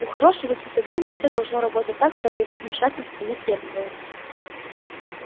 у хорошего сисадмина все должно работать так чтобы его вмешательство не требовалось